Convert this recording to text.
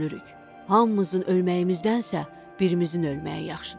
Hamımızın ölməyimizdənsə birimizin ölməyi yaxşıdır.